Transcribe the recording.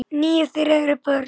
Níu þeirra eru börn.